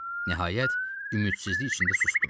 Nəhayət, ümidsizlik içində susdu.